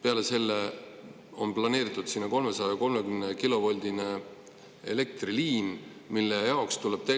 Peale selle on planeeritud sinna 330-kilovoldine elektriliin, mille jaoks tuleb